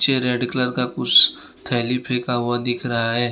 मुझे red colour का कुछ थैली फेंका हुआ दिख रहा है।